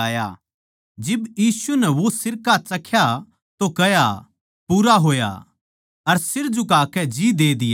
जिब यीशु नै वो सिरका चख्या तो कह्या पूरा होया अर सिर झुकाकै जी दे दिया